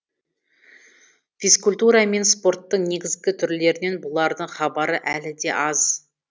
физкультура мен спорттың негізгі түрлерінен бұлардың хабары әлі де аз